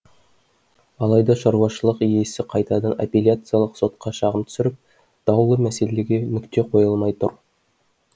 алайда шаруашылық иесі қайтадан аппелияциялық сотқа шағым түсіріп даулы мәселеге нүкте қойылмай тұр